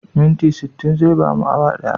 Minti sittin zai bamu awa ɗaya.